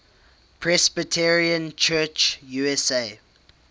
presbyterian church usa